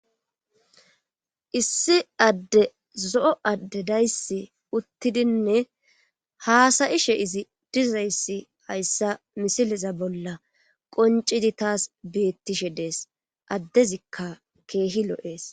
issi adde zo'o adde dayssi uttidinne haasa'ishe izi dizayssi hayssa misileza bolla qoncidi taas beettishe dees addezikka keehi lo'ees